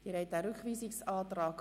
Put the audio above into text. Sie haben den Rückweisungsantrag